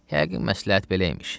Yəqin məsləhət belə imiş.